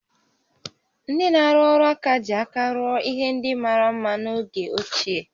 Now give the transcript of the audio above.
Ndị na-arụ ọrụ aka ji aka rụọ ihe ndị mara mma n'oge ochie